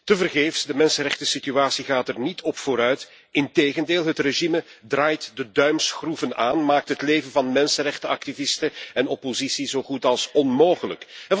Tevergeefs, de mensenrechtensituatie gaat er niet op vooruit. Integendeel, het regime draait de duimschroeven aan, maakt het leven van mensenrechtenactivisten en oppositie zo goed als onmogelijk.